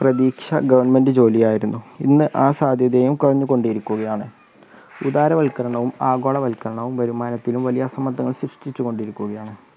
പ്രതീക്ഷ ഗവൺമെൻറ് ജോലിയായിരുന്നു ഇന്ന് ആ സാധ്യതയും കുറഞ്ഞു കൊണ്ടിരിക്കുകയാണ്. ഉദാരവൽക്കരണവും ആഗോളവൽക്കരണവും വരുമാനത്തിനും വലിയ സമ്മർദ്ദങ്ങൾ സൃഷ്ടിച്ചു കൊണ്ടിരിക്കുകയാണ്.